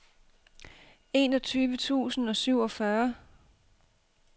enogtyve tusind og syvogfyrre